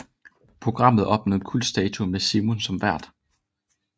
Programmet opnåede kultstatus med Simon som vært